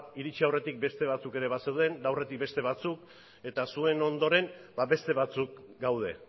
iritsi aurretik beste batzuk ere bazeuden eta aurretik beste batzuk eta zuen ondoren beste batzuk gaude